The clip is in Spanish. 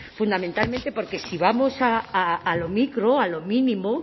fundamentalmente porque si vamos a lo micro a lo mínimo